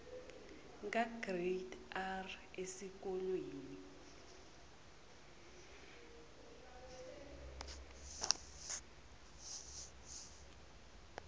kagrade r esikolweni